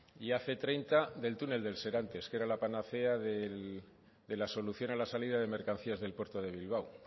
y hace treinta del túnel del serantes que era la panacea de la solución a la salida de mercancías del puerto de bilbao